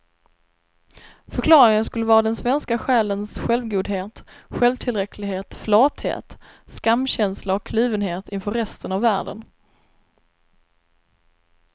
Förklaringen skulle vara den svenska själens självgodhet, självtillräcklighet, flathet, skamkänsla och kluvenhet inför resten av världen.